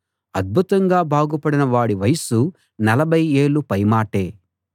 అద్భుతంగా బాగుపడిన వాడి వయస్సు నలభై ఏళ్ళు పై మాటే